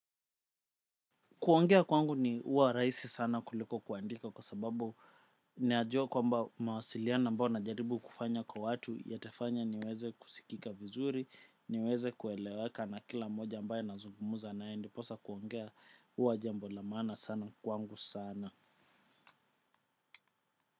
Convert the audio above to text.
Kuongea kwangu ni huwa rahisi sana kuliko kuandika kwa sababu najua kwamba mawasiliano ambao najaribu kufanya kwa watu yatafanya niweze kusikika vizuri, niweze kuelewaka na kila moja ambaye nazungumza naye ndiposa kuongea huwa jambo la maana sana kwangu sana.